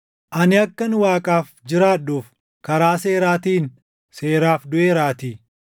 “Ani akkan Waaqaaf jiraadhuuf, karaa seeraatiin seeraaf duʼeeraatii.